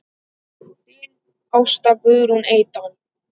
Þín Ásta Guðrún Eydal.